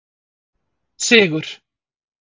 Sigur